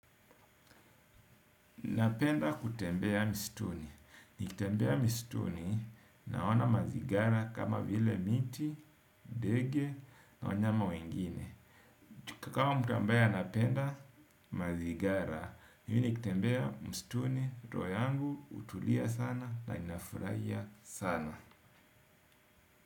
Napenda kutembea mstuni. Nikitembea mistuni naona mazigara kama vile miti, dege na wanyama wengine. Chukakawa mtu ambaye anapenda mazigara. Yini kitembea mstuni. Roho yangu utulia sana na ninafuraia sana.